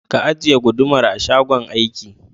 Ka ajiye gudumar a shagon aiki